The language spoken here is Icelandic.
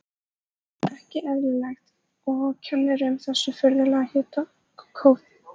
Ekki eðlilegt, og kennir um þessu furðulega hitakófi.